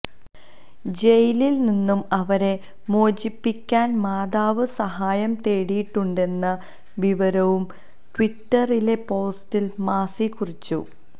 ജയിലില് നിന്നും അവരെ മോചിപ്പിക്കാന് മാതാവ് സഹായം തേടിയിട്ടുണ്ടെന്ന വിവരവും ട്വിറ്ററിലെ പോസ്റ്റില് മാസി കുറിച്ചു